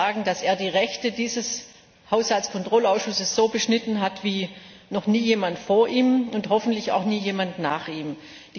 Ich kann nur sagen, dass er die Rechte dieses Haushaltskontrollausschusses so beschnitten hat wie noch nie jemand vor ihm und hoffentlich auch nie jemand nach ihm.